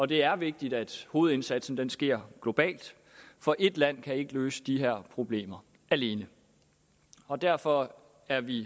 det er vigtigt at hovedindsatsen sker globalt for ét land kan ikke løse de her problemer alene og derfor er vi i